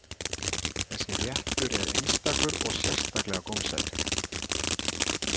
Þessi réttur er einstakur og sérstaklega gómsætur.